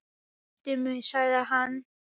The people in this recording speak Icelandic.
Kysstu mig sagði hann.